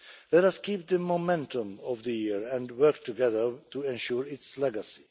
Let us keep up the momentum of the year and work together to ensure its legacy.